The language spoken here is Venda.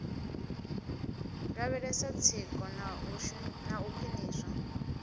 lavhelesa tsiko na u khwiniswa